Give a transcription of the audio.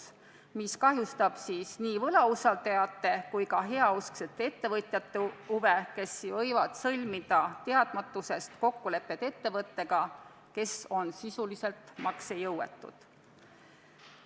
See muudatus kahjustab nii võlausaldajate kui ka heausksete ettevõtjate huve, kes võivad teadmatusest sõlmida kokkuleppeid ettevõtetega, kes on sisuliselt maksejõuetud.